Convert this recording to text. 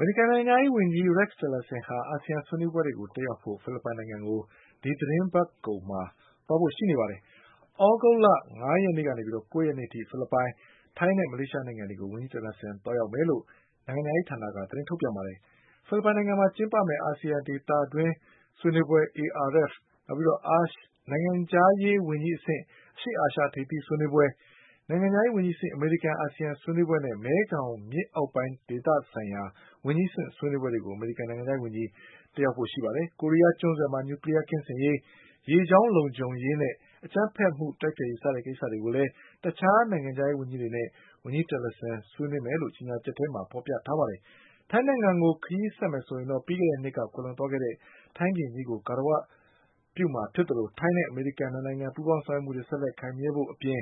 မေရိကန် နိုင်ငံခြားရေးဝန်ကြီး Rex Tillerson ဟာ အာဆီယံ ဆွေးနွေးပွဲတွေ တက်ရောက်ဖို့ ဖိလစ်ပိုင်နိုင်ငံကို ဒီသီတင်းပတ်ကုန် သွားရောက်မှာ ဖြစ်ပါတယ်။ သြဂုတ်လ ၅ ရက်ကနေ ၉ ရက်အထိ ဖိလစ်ပိုင်၊ ထိုင်းနဲ့ မလေးရှား နိုင်ငံတွေကို ဝန်ကြီး Tillerson သွားရောက်မယ်လို့ နိုင်ငံခြားရေးဌာနက သတင်းထုတ်ပြန်ပါတယ်။ ဖိလစ်ပိုင်နိုင်ငံမှာ ကျင်းပမယ့် ARF ဆွေးနွေးပွဲ ၊နိုင်ငံခြားရေး ဝန်ကြီးအဆင့် အရှေ့အာရှ ထိပ်သီးစည်းဝေးပွဲ၊ နိုင်ငံခြားရေး ဝန်ကြီးအဆင့် အမေရိကန် အာဆီယ ံဆွေးနွေးပွဲနဲ့ မဲခေါင်မြစ် အောက်ပိုင်းဒေသ ဆိုင်ရာ ဝန်ကြီးအဆင့် ဆွေးနွေးပွဲတွေကိုအမေရိကန် နိုင်ငံခြားရေးဝန်ကြီး တက်ရောက်မှာ ဖြစ်ပါတယ်။ ကိုရီးယား ကျွန်းဆွယ်မှာ Nuclear ကင်းရှင်းရေး၊ ရေကြောင်း လုံခြုံရေးနဲ့ အကြမ်းဖက်မှု တိုက်ဖျက်ရေး စတဲ့ကိစ္စတွေကိုလည်း တခြားနိုင်ငံခြားရေး ဝန်ကြီးတွေနဲ့ ဝန်ကြီး Tillerson ဆွေးနွေးမယ်လို့ ကြေညာချက်ထဲမှာ ဖော်ပြထားပါတယ်။ ထိုင်းနိုင်ငံကို ခရီးဆက်ရင်တော့ ပြီးခဲ့တဲ့နှစ်က ကွယ်လွန်သွားတဲ့ ထိုင်းဘုရင်ကြီးကို ဂါရဝပြုမှာ ဖြစ်သလို ထိုင်းနဲ့ အမေရိကန် ပူးပေါင်း ဆောင်ရွက်မှုတွေ ဆက်လက် ခိုင်မြဲဖို့အပြင်